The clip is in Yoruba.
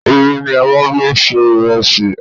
Omi ni a máa ń fi ń se ìrẹsì.